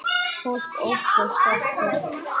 Fólk óttast okkur.